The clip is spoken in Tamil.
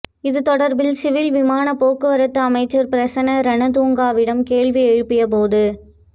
இது தொடர்பில் சிவில் விமானப் போக்குவரத்து அமைச்சர் பிரசன்ன ரணதுங்கவிடம் கேள்வியெழுப்பிய போது